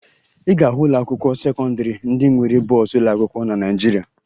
Ị ga-ahụ ụlọakwụkwọ sekọndịrị ndị nwere bọọsụ ụlọakwụkwọ na Naịjirịa